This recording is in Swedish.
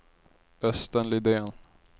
Östen Lidén